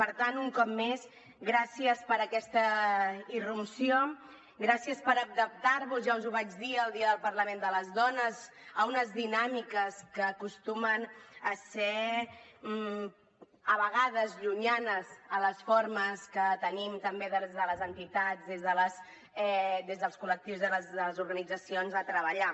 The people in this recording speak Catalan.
per tant un cop més gràcies per aquesta irrupció gràcies per adaptar vos ja us ho vaig dir el dia del parlament de les dones a unes dinàmiques que acostumen a ser a vegades llunyanes a les formes que tenim també des de les entitats des dels col·lectius de les organitzacions de treballar